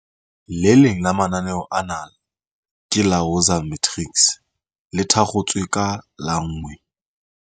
Le leng la mananeo ana ke la Woza Matrics, le thakgotsweng ka la 1